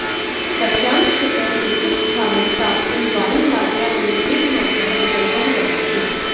तस्यां स्थितौ किञ्चित् स्थानं प्राप्तुं वायुयात्रा एव एकमात्रः विकल्पः वर्तते